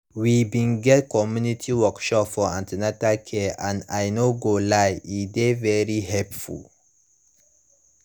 we bin get community workshop for an ten atal care and i no go lie e dey very helpful